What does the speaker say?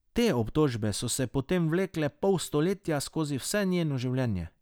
Te obtožbe so se potem vlekle pol stoletja, skozi vse njeno življenje.